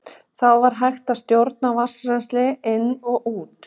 Þá var hægt að stjórna vatnsrennsli inn og út.